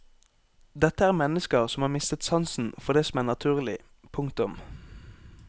Dette er mennesker som har mistet sansen for det som er naturlig. punktum